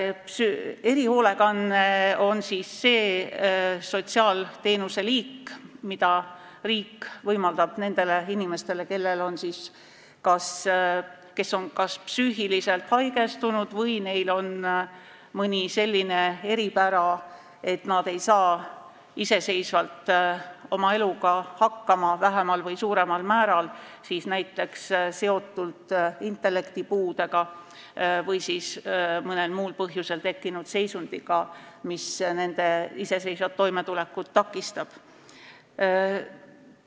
Erihoolekanne on see sotsiaalteenuse liik, mida riik võimaldab nendele inimestele, kes on kas psüühiliselt haigestunud või kellel on mõni selline eripära, et nad ei saa vähemal või suuremal määral iseseisvalt oma eluga hakkama, kas näiteks intellektipuude või mõnel muul põhjusel tekkinud seisundi tõttu, mis nende iseseisvat toimetulekut takistab.